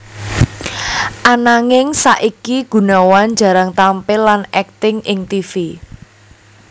Ananging saiki Gunawan jarang tampil lan akting ing tivi